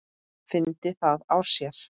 Fyndi það á sér.